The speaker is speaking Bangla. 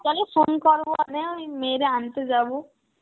বিকালে phone করব মানে ওই মেয়েরে আনতে যাব.